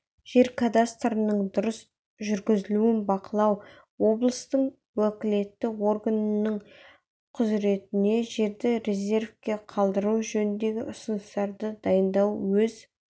жер кадастрының дұрыс жүргізілуін бақылау облыстың уәкілетті органының құзыретіне жерді резервте қалдыру жөніндегі ұсыныстарды дайындау өз